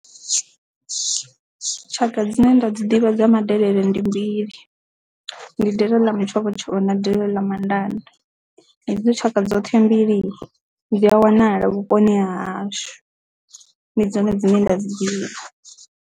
Tshaka dzine nda dzi ḓivha dza madelele ndi mbili ndi delele ḽa mutshovhotshovho na delele ḽa mandande hedzo tshaka dzoṱhe mbili dzi a wanala vhuponi ha hashu ndi dzone dzine nda dzi ḓivha.